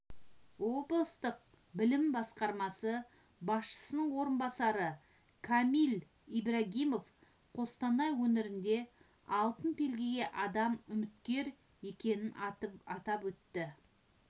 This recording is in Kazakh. облыстық білім басқармасы басшысының орынбасары камиль ибрагимов қостанай өңірінде алтын белгіге адам үміткер екенін атап өтті